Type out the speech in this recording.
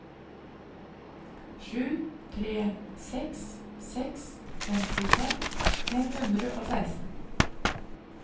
sju tre seks seks femtifem fem hundre og seksten